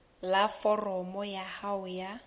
la foromo ya hao ya